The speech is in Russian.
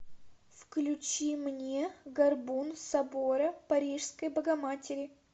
включи мне горбун собора парижской богоматери